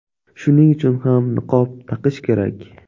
Shuning uchun ham niqob taqish kerak.